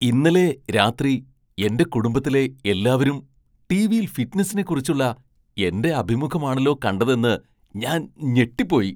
ഇന്നലെ രാത്രി എന്റെ കുടുംബത്തിലെ എല്ലാവരും ടിവിയിൽ ഫിറ്റ്നസിനെക്കുറിച്ചുള്ള എന്റെ അഭിമുഖമാണല്ലോ കണ്ടതെന്ന് ഞാൻ ഞെട്ടിപ്പോയി!